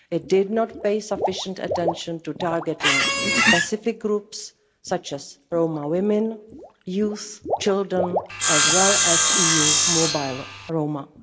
It did not pay sufficient attention to targeting specific groups such as Roma women, youth, children as well as EU mobile Roma.